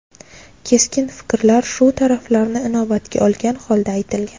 Keskin fikrlar shu taraflarni inobatga olgan holda aytilgan.